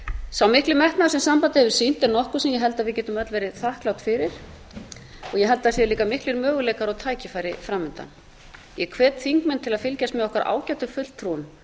sá mikli metnaður sem sambandið hefur sýnt er nokkuð sem ég held að við getum öll verið þakklát fyrir ég held að sé líka miklir möguleikar og tækifæri framundan ég hvet þingmenn til að fylgjast með okkar ágætu fulltrúum